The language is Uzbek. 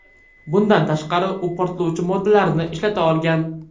Bundan tashqari, u portlovchi moddalarni ishlata olgan.